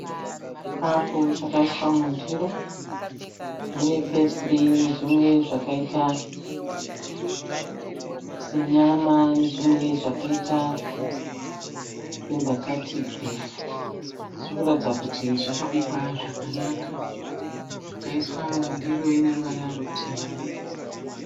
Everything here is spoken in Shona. Chikafu chakaiswa mundiro, mune pesiri nezvimwe zvakaita senyama nezvimwe zvakaita sembatatisi. Zvirikuratidza kuti zvakabikwa zvakanaka. Zvakaiswa mundiro ineruvara rutema.